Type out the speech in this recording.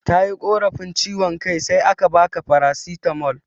Tayi korafi ciwan kai sai aka baka farasitamol